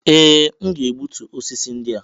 Ee! M ga-egbutu osisi ndị a.